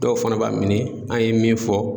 Dɔw fana b'a miiri an ye min fɔ